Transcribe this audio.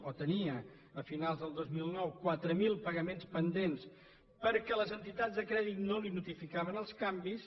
o els tenia a finals de dos mil nou quatre mil pagaments pendents perquè les entitats de crèdit no li notificaven els canvis